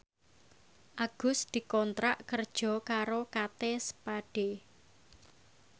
Agus dikontrak kerja karo Kate Spade